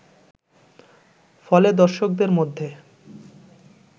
ফলে দর্শকদের মধ্যে